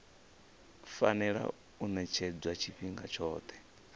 fanela u ṅetshedzwa tshifhinga tshoṱhe